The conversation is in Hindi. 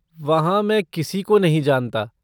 वहाँ मैं किसी को नहीं जानता।